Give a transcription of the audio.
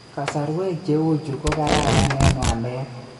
Kasarwek cheuchu ko kararan eng waleet